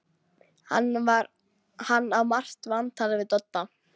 Hann á margt vantalað við Dodda.